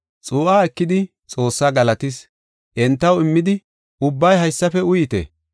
Xuu7aa ekidi, Xoossaa galatis. Entaw immidi, “Ubbay haysafe uyite.